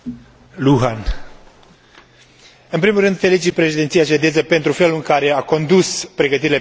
În primul rând, felicit președinția suedeză pentru felul în care a condus pregătirile pentru tranziția spre Tratatul de la Lisabona.